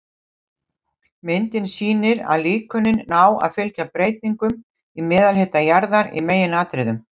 Myndin sýnir að líkönin ná að fylgja breytingum í meðalhita jarðar í meginatriðum.